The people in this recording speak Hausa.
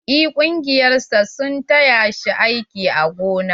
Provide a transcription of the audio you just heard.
En ƙungiyar sa sun taya shi aiki a gona.